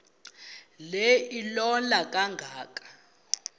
le ilola kangaka